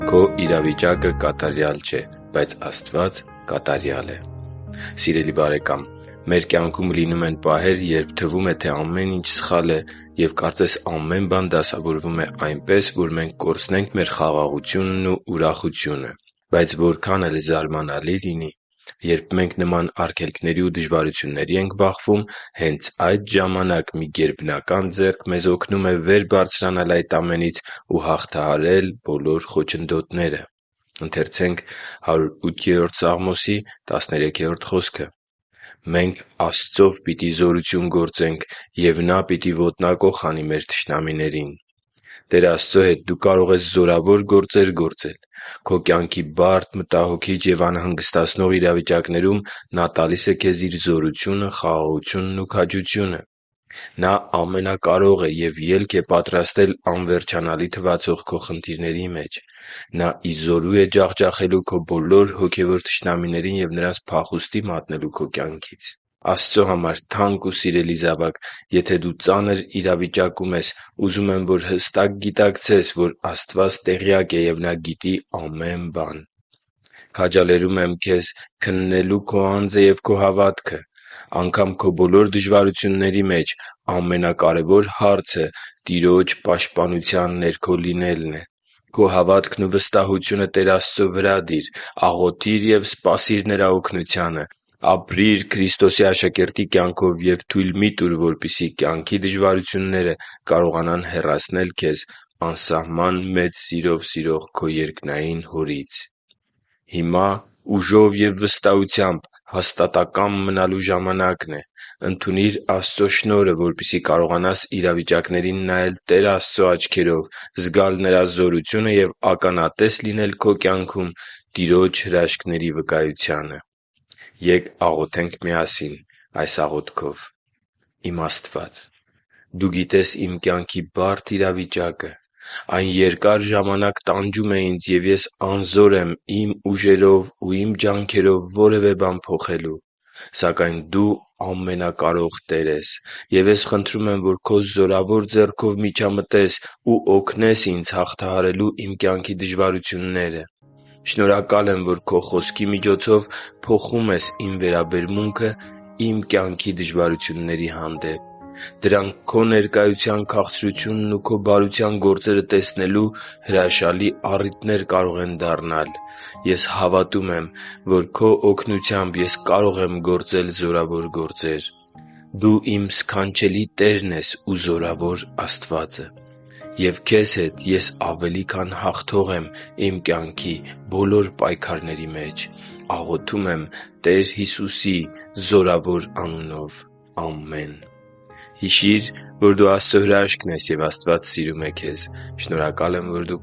Քո իրավիճակը կատարյալ չէ, բայց Աստված է կատարյալ Սիրելի՛ բարեկամ, մեր կյանքում լինում են պահեր, երբ թվում է, թե ամեն ինչ սխալ է և կարծես ամեն բան դասավորվում է այնպես, որ մենք կորցնենք մեր խաղաղությունն ու ուրախությունը։ Բայց որքան էլ զարմանալի լինի, երբ մենք նման արգելքների ու դժվարությունների ենք բախվում, հենց այդ ժամանակ մի գերբնական ձեռք մեզ օգնում է վեր բարձրանալ այդ ամենից ու հաղթահարել բոլոր խոչընդոտները։ «Մենք Աստծով պիտի զորություն գործենք, և Նա պիտի ոտնակոխ անի մեր թշնամիներին» (Սաղմոս 108․13) - Տեր Աստծո հետ դու կարող ես զորավոր գործեր գործել։ - Քո կյանքի բարդ, մտահոգիչ և անհանգստացնող իրավիճակներում Նա տալիս է քեզ Իր զորությունը, խաղաղությունն ու քաջությունը։ - Նա ամենակարող է և ելք է պատրաստել անվերջանալի թվացող քո խնդիրների մեջ։ - Նա ի զորու է ջախջախելու քո բոլոր հոգևոր թշնամիներին և նրանց փախուստի մատնել քո կյանքից։ Աստծո համար թանկ ու սիրելի՛ զավակ, եթե դու ծանր իրավիճակում ես, ուզում եմ, որ հստակ գիտակցես, որ Աստված տեղյակ է և Նա գիտի ամեն բան։ Քաջալերում եմ քեզ քննելու քո անձը և քո հավատքը։ Անգամ քո բոլոր դժվարությունների մեջ ամենակարևոր հարցը Տիրոջ պաշտպանության ներքո լինելն է։ Քո հավատքն ու վստահությունը Տեր Աստծո վրա դի՛ր։ Աղոթի՛ր և սպասի՛ր Նրա օգնությանը։ Ապրի՛ր Քրիստոսի աշակերտի կյանքով և թույլ մի՛ տուր, որպեսզի կյանքի դժվարությունները քեզ հեռացնեն քեզ անսահման մեծ սիրով սիրող քո երկնային Հորից։ Հիմա ուժով և վստահությամբ հաստատակամ մնալու ժամանակն է։ Ընդունի՛ր Աստծո շնորհը, որպեսզի կարողանաս իրավիճակներին նայել Տեր Աստծո աչքերով, զգալ Նրա զորությունը և ականատես լինել քո կյանքում Տիրոջ հրաշքների վկայությանը։ Ե՛կ աղոթենք միասին այս աղոթքով. «Իմ Աստվա՛ծ, Դու գիտես իմ կյանքի բարդ իրավիճակը։ Այն երկար ժամանակ տանջում է ինձ, և ես անզոր եմ իմ ուժերով ու իմ ջանքերով որևէ բան փոխելու։ Սակայն Դու ամենակարող Տեր ես։ Եվ ես խնդրում եմ, որ Քո զորավոր ձեռքով միջամտես ու օգնես ինձ հաղթահարելու իմ կյանքի դժվարությունները։ Շնորհակալ եմ, որ Քո Խոսքի միջոցով փոխում ես իմ վերաբերմունքը իմ կյանքի դժվարությունների հանդեպ։ Դրանք Քո ներկայության քաղցրությունն ու Քո բարության գործերը տեսնելու հրաշալի առիթներ կարող են դառնալ։ Ես հավատում եմ, որ Քո օգնությամբ ես կարող եմ գործել զորավոր գործեր։ Դու իմ սքանչելի Տերն ես ու զորավոր Աստվածը։ Եվ Քեզ հետ ես ավելի քան հաղթող եմ իմ կյանքի բոլոր պայքարների մեջ։ Աղոթում եմ Տեր Հիսուսի զորավոր անունով։ Ամե՛ն»։ Հիշի՛ր, որ դու Աստծո հրաշքն ես, և Աստված սիրում է քեզ։ Շնորհակալ եմ, որ դու